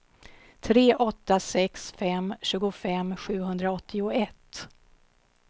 tre åtta sex fem tjugofem sjuhundraåttioett